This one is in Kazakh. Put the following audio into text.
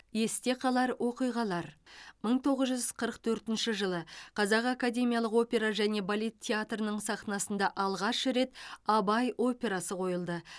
есте қалар оқиғалар мың тоғыз жүз қырық төртінші жылы қазақ академиялық опера және балет театрының сахнасында алғаш рет абай операсы қойылды